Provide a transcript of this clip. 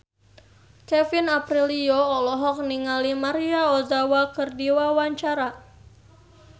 Kevin Aprilio olohok ningali Maria Ozawa keur diwawancara